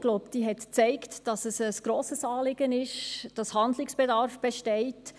Ich glaube, sie hat gezeigt, dass es ein grosses Anliegen ist und Handlungsbedarf besteht.